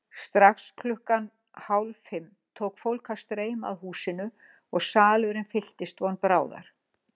Strax klukkan hálffimm tók fólk að streyma að húsinu og salurinn fylltist von bráðar.